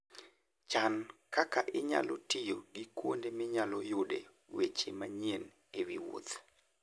Chan kaka inyalo tiyo gi kuonde minyalo yude weche manyien e wi wuoth.